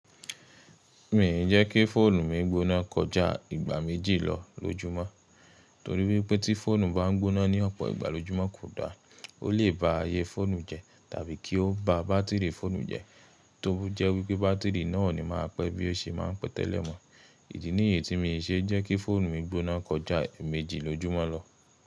Mii jẹ́ kí fóònù mi gbóná kọjá ìgbà méjì lọ lójúmọ́, torí wípé tí fóònù bá ń gbóná ní ọ̀pọ̀ ìgbà lójúmọ́ kò da. Ó lè ba ayé fóònù jẹ tàbí kí ó ba bátìrì fóònù jẹ, tó jẹ́ wípé bátìrì náà o ni máa pẹ́ bí ó ṣe máa ń pẹ́ tẹ́lẹ̀ mọ. Idi nìyíi tí mii ṣe jẹ́ kí fóònù mi gbóná kọjá eemeéjì lójúmọ́ lọ.